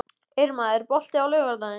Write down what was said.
Irma, er bolti á laugardaginn?